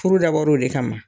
Furu dabɔra o le kama